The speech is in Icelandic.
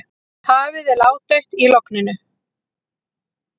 Hafið er ládautt í logninu.